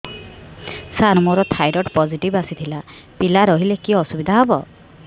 ସାର ମୋର thyroid positive ଆସିଥିଲା ପିଲା ରହିଲେ କି ଅସୁବିଧା ହେବ